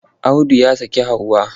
Audu ya saki Hauwa.